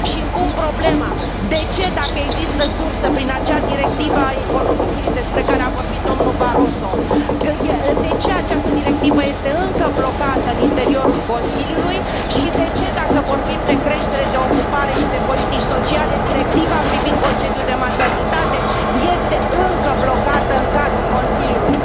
Și îmi pun problema de ce, dacă există surse prin acea directivă a economisirii despre care vorbit domnul Barroso, de ce această directivă este încă blocată în interiorul Consiliului și de ce, dacă vorbim de creștere, de ocupare și de politici sociale, directiva privind concediul de maternitate este încă blocată în cadrul Consiliului?